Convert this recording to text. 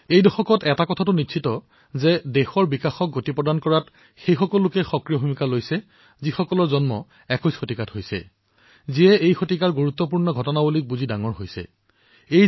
এই দশকটোত এটা কথা নিশ্চিত যে দেশৰ বিকাশক গতি দিয়াত যিসকল লোকে সক্ৰিয় ভূমিকা গ্ৰহণ কৰিব তেওঁলোকৰ জন্ম একবিংশ শতিকাতেই হৈছে যি এই শতিকাৰ গুৰুত্বপূৰ্ণ বিষয়সমূহৰ বিষয়ে জ্ঞাত হৈ ডাঙৰদীঘল হৈছে